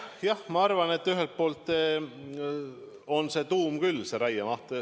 Jah, ma arvan, et ühelt poolt on see tuum raiemaht.